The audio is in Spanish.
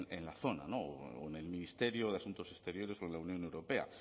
en la zona o en el ministerio de asuntos exteriores o en la unión europea